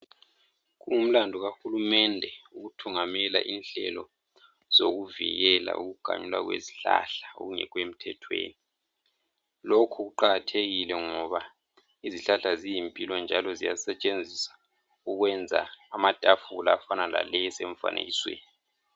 Kungumlandu kahulumende ukuthungamela inhlelo zokuvikela ukuganyulwa kwezihlahla okungekho emthethweni lokhu kuqakathekile ngoba izihlahla ziyimpilo njalo ziyasetshenziswa ukwenza amatafula afana laleyi esemfanekisweni.